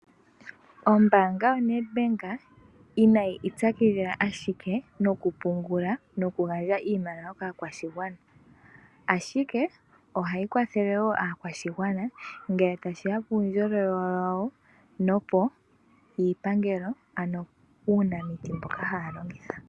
Ombaanga yoNedbank inayi ipyakidhila ashike nokupungula nokugandja iimaliwa kaakwashigwana, ashike ohayi kwathele wo aakwashigwana ngele tashi ya puundjolowele wawo puupangelo ano puunamiti mboka haya longitha.